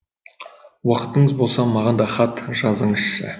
уақытыңыз болса маған да хат жазыңызшы